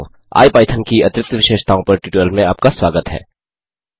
IPython की अतिरिक्त विशेषताओं पर ट्यूटोरियल में आपका स्वागत है